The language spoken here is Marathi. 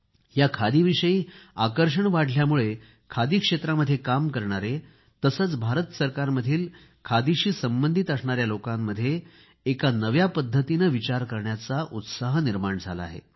या खादीविषयी आकर्षण वाढल्यामुळे खादी क्षेत्रामध्ये काम करणारे तसेच भारत सरकारमधील खादीशी संबंधित असणाऱ्या लोकांमध्ये एका नव्या पद्धतीने विचार करण्याचा उत्साह निर्माण झाला आहे